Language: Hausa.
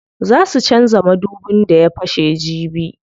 Zaa su canza madubin da ya fashe jibi.